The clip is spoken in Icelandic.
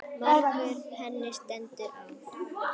Margur henni stendur á.